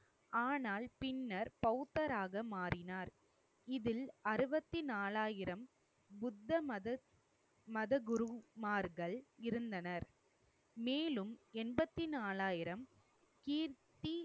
ஆனால் பின்னர் பௌத்தராக மாறினார். இதில் அறுபத்தி நாலாயிரம் புத்தமத மதகுருமார்கள் இருந்தனர். மேலும் எண்பத்தி நாலாயிரம் கீர்த்தி